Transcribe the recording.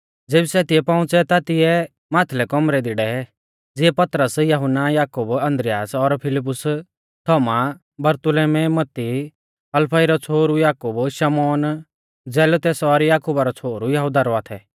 ज़ेबी सै तिऐ पौउंच़ै ता तिऐ माथलै कौमरै दी डै ज़िऐ पतरस यहुन्ना याकूब आन्द्रियास और फिलिप्पुस थोमा बरतुल्मै मत्ती हलफई रौ छ़ोहरु याकूब शमौन जेलोतेस और याकुबा रौ छ़ोहरु यहुदा रौआ थै